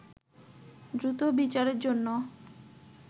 দ্রুত বিচারের জন্য